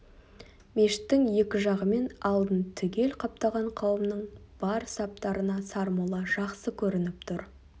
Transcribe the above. мешіттің екі жағы мен алдын түгел қаптаған қауымның бар саптарына сармолла жақсы көрініп тұр